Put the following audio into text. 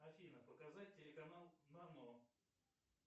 афина показать телеканал нано